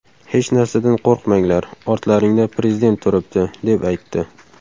Hech narsadan qo‘rqmanglar, ortlaringizda Prezident turibdi”, deb aytdi.